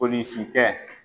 Polisikɛ